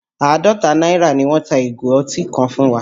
Àádọ́ta náírà ni wọ́n ta ìgò ọtí ká fún wa